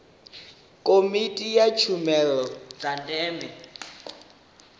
komiti ya tshumelo dza ndeme